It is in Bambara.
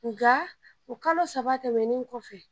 Nka o kalo saba tɛmɛnen kɔfɛ